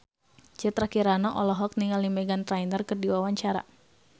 Citra Kirana olohok ningali Meghan Trainor keur diwawancara